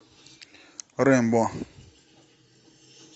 рэмбо